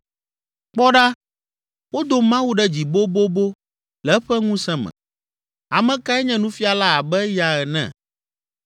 “Kpɔ ɖa, wodo Mawu ɖe dzi bobobo le eƒe ŋusẽ me. Ame kae nye nufiala abe eya ene?